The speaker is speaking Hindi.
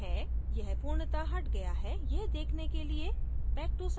यह पूर्णत: हट गया है यह देखने के लिए back to site पर click करें